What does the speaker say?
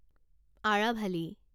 Aravalli